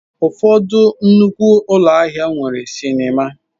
Ụfọdụ nnukwu ụlọ ahịa nwere sinima.